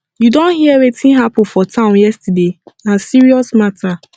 you don hear wetin happen for town yesterday na serious matter